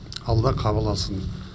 алла қабыл алсын